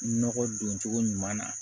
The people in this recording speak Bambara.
Nɔgɔ don cogo ɲuman na